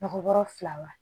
Mɔgɔ wɔrɔ fila wa